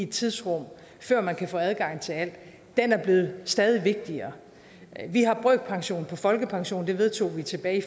tidsrum før man kan få adgang til alt blevet stadig vigtigere vi har brøkpension på folkepension det vedtog vi tilbage i